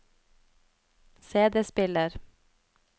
CD-spiller